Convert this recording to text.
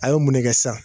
A ye mun ne kɛ sisan